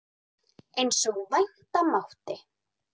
Eins og vænta mátti.